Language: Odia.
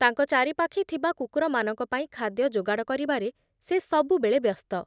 ତାଙ୍କ ଚାରିପାଖେ ଥିବା କୁକୁରମାନଙ୍କ ପାଇଁ ଖାଦ୍ୟ ଯୋଗାଡ଼ କରିବାରେ ସେ ସବୁବେଳେ ବ୍ୟସ୍ତ ।